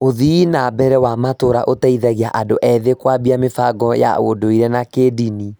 Ũthii na mbere wa matũũra ũteithagia andũ ethĩ kũambia mĩbango ya ũndũire na kĩĩndini.